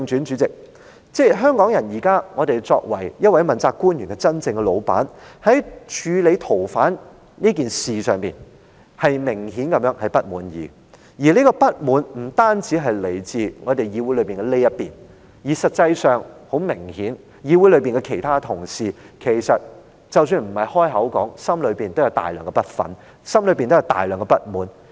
主席，言歸正傳，香港人作為這位問責官員的真正老闆，在處理逃犯問題一事上，明顯地感到不滿，當中的不滿不單來自議會內的這一邊，實際上，議會內其他同事雖然沒有說出口，但也明顯地存有大量不忿和不滿。